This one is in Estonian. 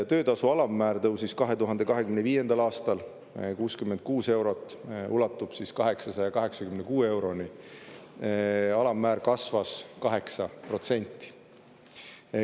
Töötasu alammäär tõusis 2025. aastal 66 eurot, ulatub 886 euroni, alammäär kasvas 8%.